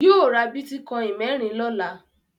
Yóò ra bítíkọ́ìn mẹ́rin lọ́la.